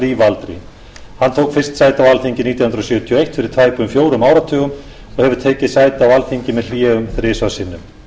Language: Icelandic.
lífaldri hann tók fyrst sæti á alþingi nítján hundruð sjötíu og eitt fyrir tæpum fjórum áratugum og hefur tekið sæti á alþingi með hléum þrisvar sinnum